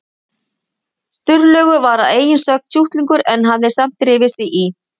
Sturlaugur var að eigin sögn sjúklingur en hafði samt drifið sig í